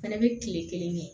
Fana bɛ tile kelen kɛ